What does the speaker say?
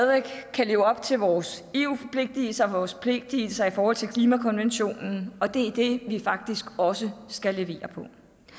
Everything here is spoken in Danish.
kan leve op til vores eu forpligtelser og vores forpligtelser i forhold til klimakonventionen og det er det vi faktisk også skal levere på